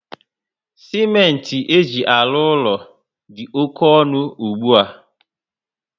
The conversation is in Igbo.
Simenti eji alụ úlọ dị oké ọnụ ugbua